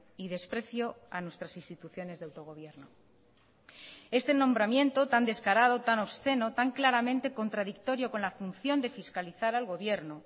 y desprecio a nuestras instituciones de autogobierno este nombramiento tan descarado tan obsceno tan claramente contradictorio con la función de fiscalizar al gobierno